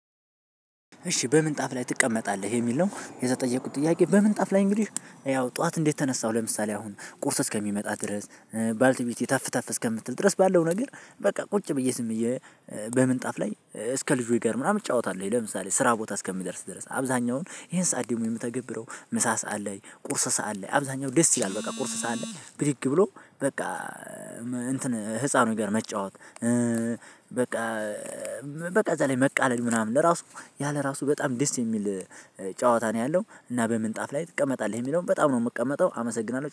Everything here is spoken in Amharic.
እሺ በምንጣፍ ላይ ትቀመጣለህ የሚል ነው የተጠየቁት ጥያቄ? በምንጣፍ ላይ እንግዲህ ያው ጠዋት እንዴት ተነሳሁ ለምሳሌ አሁን ቁርስ እስከሚመጣ ድረስ ባልቲቤቴ ተፍ ተፍ እስከምትል ድረስ ባለው ነገር በቃ ቁጭ ብዬ ዝም ብዬ። በምንጣፍ ላይ እስከ ከልጆች ጋር ምናምን እጫወታለሁኝ ለምሳሌ ስራ ቦታ እስከምደርስ ድረስ አብዛኛውን ይሄን ሰዓት ደግሞ የምተገብረው ምሳ ሰዓት ላይ ቁርስ ሰዓት ላይ አብዛኛው ደስ ይላል። በቃ ቁርስ ሰዓት ላይ ብድግ ብሎ በቃ እንትን ህፃኑ ጋር መጫወት። በቃ። በቃ እዛ ላይ መቃለድ ምናምን ለራሱ ያ ለራሱ በጣም ደስ የሚል ጨዋታ ነው ያለው። እና በምንጣፍ ላይ ትቀመጣለህ የሚለውን በጣም ነው የምቀመጠው አመሰግናለሁ